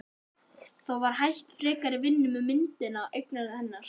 Þá var hætt frekari vinnu með myndina og eiganda hennar